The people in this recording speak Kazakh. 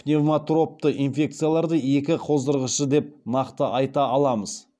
пневмотропты инфекцияларды екі қоздырғышы деп нақты айта аламыз